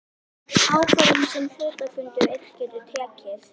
ákvörðun sem hluthafafundur einn getur tekið.